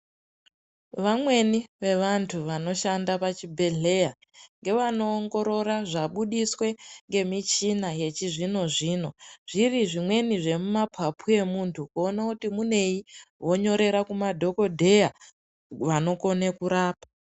Vamweni vevantu vanoshanda pavhibhedhleya ngevanoongorora zvabudiswe ngemuchina yechizvino zvino zviri zvimweni zvemumapapu emuntu kuona kuti munei vonyorera kumadhokodheya vanokone kurapa.